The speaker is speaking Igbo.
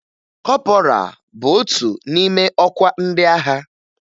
Kọpọraa bụ otu n'ime ọkwa ndị agha